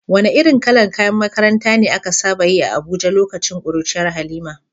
Wane irin kalar kayan makaranta ne aka saba yi a Abuja lokacin kuruciyar Halima?